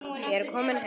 Ég er kominn heim!